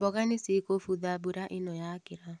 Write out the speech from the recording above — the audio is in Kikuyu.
Mboga nĩ cikũbutha mbura ĩno yakĩra.